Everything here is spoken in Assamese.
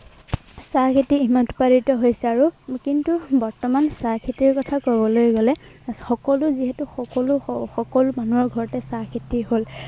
চাহ খেতি উৎপাদিত হৈছে। আৰু কিন্তু বৰ্তমান চাহ খেতিৰ কথা কবলৈ গলে, এৰ সকলো যিহেতু সকলো মানুহৰ ঘৰতে চাহ খেতি হল।